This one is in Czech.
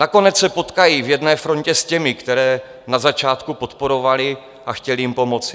Nakonec se potkají v jedné frontě s těmi, které na začátku podporovali a chtěli jim pomoci.